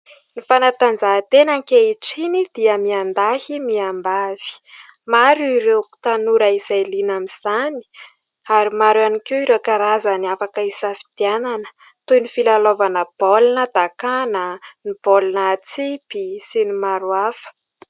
Ny fanatanjahantena ankehitriny dia miandahy miambavy. Maro ireo tanora izay liana amin'izany, ary maro ihany koa ireo karazany afaka hisafidianana, toy ny filalaovana baolina dakàna, ny baolina atsipy maro samihafa.